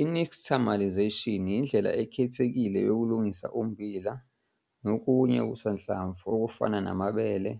I-Nixtamalisation yindlela ekhethekile yokulungisa ummbila, nokunye okusanhlamvu okufana namabele,